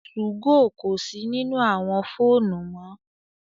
2go kò si nínú àwọn fóònù mọ